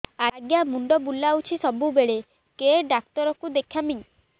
ଆଜ୍ଞା ମୁଣ୍ଡ ବୁଲାଉଛି ସବୁବେଳେ କେ ଡାକ୍ତର କୁ ଦେଖାମି